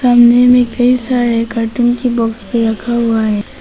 कोने कई सारे गर्दन की बॉक्स पर रखा हुआ है।